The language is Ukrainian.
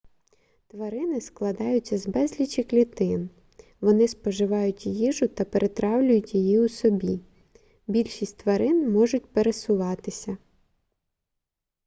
тварини складаються з безлічі клітин вони споживають їжу та перетравлюють її у собі більшість тварин можуть пересуватися